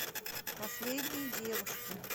последние девушки